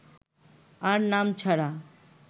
আর নাম ছাড়া